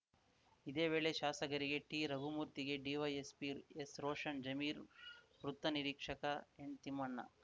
ಇದೇ ವೇಳೆ ಶಾಸಕರಿಗೆ ಟಿರಘುಮೂರ್ತಿಗೆ ಡಿವೈಎಸ್ಪಿ ಎಸ್‌ರೋಷನ್‌ ಜಮೀರ್ ವೃತ್ತ ನಿರೀಕ್ಷಕ ಎನ್‌ತಿಮ್ಮಣ್ಣ